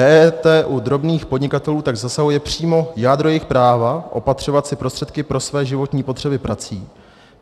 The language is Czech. EET u drobných podnikatelů tak zasahuje přímo jádro jejich práva opatřovat si prostředky pro své životní potřeby prací,